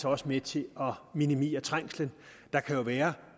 også med til at minimere trængslen der kan jo være